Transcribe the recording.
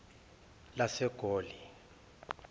lasegoli